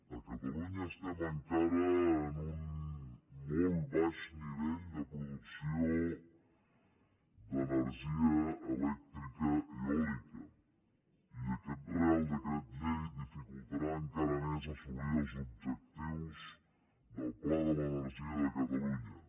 a catalunya estem encara en un molt baix nivell de producció d’energia elèctrica eòlica i aquest reial decret llei dificultarà encara més assolir els objectius del pla de l’energia de catalunya